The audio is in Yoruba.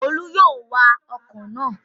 Olú yóò wa ọkọ̀ náà